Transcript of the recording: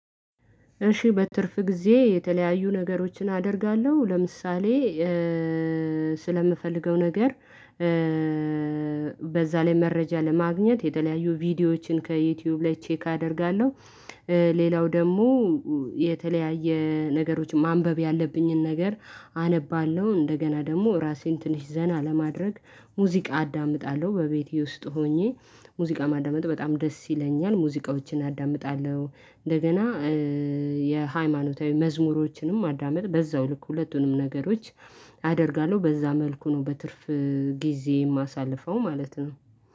እሺ በትርፍ ጊዜ የተለያዩ ነገሮችን አደርጋለሁ ለምሳሌ ስለምፈልገው ነገር በዛ ላይ መረጃ ለማግኘት የተለያዩ ቪዲዮዎችን ከዩቲዩብ ላይ ቼክ አደርጋለሁ። ሌላው ደግሞ የተለያየ ነገሮች ማንበብ ያለብኝን ነገር አነባለሁ እንደገና ደግሞ ራሴን ትንሽ ዘና ለማድረግ ሙዚቃ አዳምጣለሁ በቤቴ ውስጥ ሆኜ ሙዚቃ ማዳመጥ በጣም ደስ ይለኛል ሙዚቃዎችን አዳምጣለሁ። እንደገና የሃይማኖታዊ መዝሙሮችንም ማዳመጥ በዛው ልክ ሁለቱንም ነገሮች አደርጋለሁ በዛ መልኩ ነው በትርፍ ጊዜ የማሳልፈው ማለት ነው።